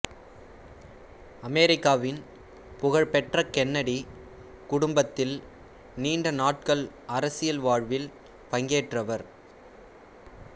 அமெரிக்காவின் புகழ்பெற்ற கென்னடி குடும்பத்தில் நீண்டநாட்கள் அரசியல் வாழ்வில் பங்கேற்றவர்